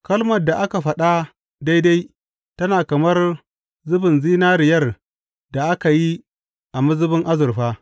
Kalmar da aka faɗa daidai tana kamar zubin zinariyar da aka yi a mazubin azurfa.